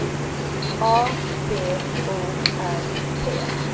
A B O R T